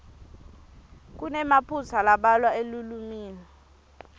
kunemaphutsa lambalwa elulwimi